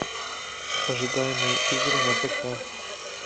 ожидаемые игры на пк